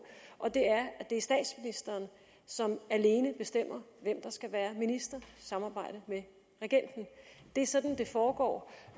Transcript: og det er at det er statsministeren som alene bestemmer hvem der skal være minister i samarbejde med regenten det er sådan det foregår